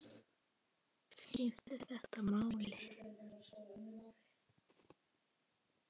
Skiptir þetta máli?